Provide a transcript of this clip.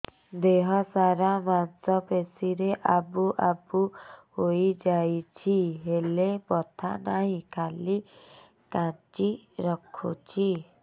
ଦେହ ସାରା ମାଂସ ପେଷି ରେ ଆବୁ ଆବୁ ହୋଇଯାଇଛି ହେଲେ ବଥା ନାହିଁ ଖାଲି କାଞ୍ଚି ରଖୁଛି